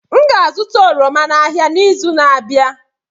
M ga-azụta oroma n'ahịa n'izu na-abịa.